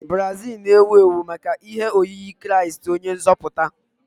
Brazil na-ewu ewu maka ihe oyiyi kraist onye nzoputa.